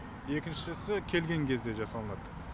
екіншісі келген кезде жасалынады